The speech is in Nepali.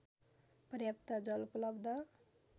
पर्याप्त जल उपलब्ध